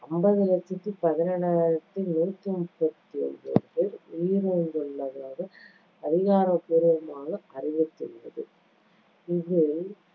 அம்பது லட்சத்து பதினேழாயிரத்தி நூத்தி முப்பத்தி ஒன்பது பேர் உயிரிழந்துள்ளனர் என்று அதிகாரப்பூர்வமாக அறிவித்டிருந்தது. இதில்